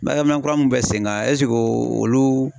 Baarakɛ minɛn kura mun bɛ sen kan eseke olu